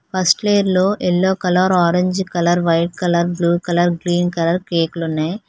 First లేయర్లో yellow colour orange colour white colour blue colour green colour కేకులు ఉన్నాయి.